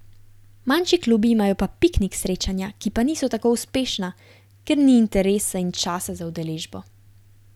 Manjši klubi imajo pa piknik srečanja, ki pa niso tako uspešna, ker ni interesa in časa za udeležbo.